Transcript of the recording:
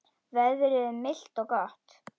Veðrið er milt og gott.